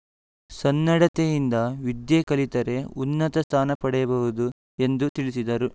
ಸನ್ನಡತೆಯಿಂದ ವಿದ್ಯೆ ಕಲಿತರೆ ಉನ್ನತ ಸ್ಥಾನ ಪಡೆಯಬಹುದು ಎಂದು ತಿಳಿಸಿದರು